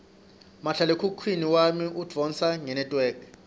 mahlalekhukhwini wami udvonsa ngenetwork